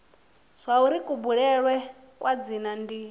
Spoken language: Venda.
zwauri kubulele kwa dzina ndi